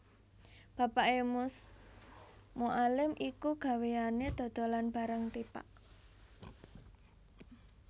Bapaké Mus Mualim iku gaweyané dodolan barang tipak